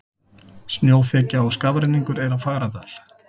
Snjóþekja og skafrenningur er á Fagradal